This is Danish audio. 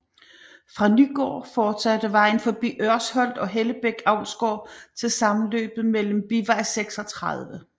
Fra Nygård fortsatte vejen forbi Ørsholt og Hellebæk Avlsgård til sammenløbet med bivej 36